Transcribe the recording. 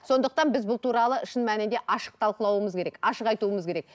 сондықтан біз бұл туралы шын мәнінде ашық талқылауымыз керек ашық айтуымыз керек